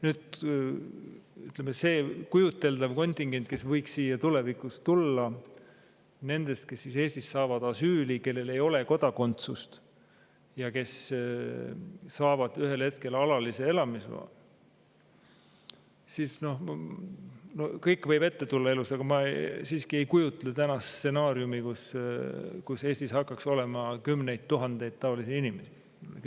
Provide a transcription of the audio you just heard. Nüüd, see kujuteldav kontingent, kes võiks siia tulevikus tulla, kes Eestis saavad asüüli, kellel ei ole kodakondsust ja kes saavad ühel hetkel alalise elamisloa – kõike võib elus ette tulla, aga ma siiski ei kujuta ette stsenaariumi, et Eestis hakkaks olema kümneid tuhandeid taolisi inimesi.